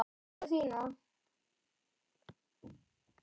Frænku þína?